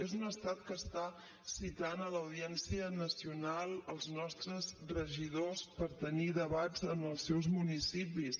és un estat que està citant a l’audiència nacional els nostres regidors per tenir debats en els seus municipis